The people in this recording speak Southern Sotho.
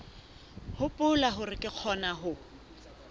hopola hore re kgona ho